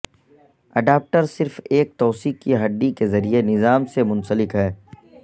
adapter صرف ایک توسیع کی ہڈی کے ذریعے نظام سے منسلک ہے